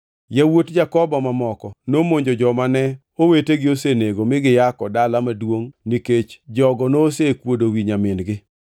Yawuot Jakobo mamoko nomonjo joma ne owetegi osenego mi giyako dala maduongʼni nikech jogo nosekuodo wi nyamin-gi.